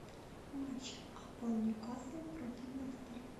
матч апл ньюкасл против лестер